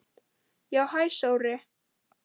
Já, hæ Sóri.